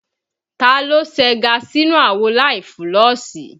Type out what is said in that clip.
Taa ló segá sínú àwo láì fúlọ̀sì?